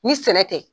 Ni sɛnɛ tɛ